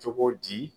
Cogo di